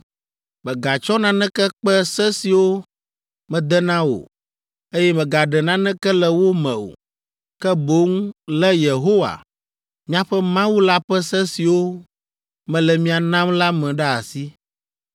Mègatsɔ naneke kpe se siwo mede na wò, eye mègaɖe naneke le wo me o, ke boŋ lé Yehowa, miaƒe Mawu la ƒe se siwo mele mia nam la me ɖe asi.